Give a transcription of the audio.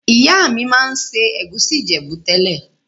Ìyá mi ma n se ègusi Ìjẹ̀bú tẹ́lẹ̀.